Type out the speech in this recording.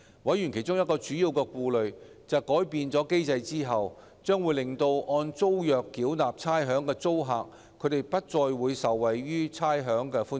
委員其中一個主要顧慮，是改變機制將令按租約繳納差餉的租客不再受惠於差餉寬減。